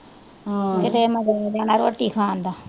ਆਹੋ ਕਿਤੇ ਮਜ਼ੇ ਆ ਜਾਣਾ ਰੋਟੀ ਖਾਣ ਦਾ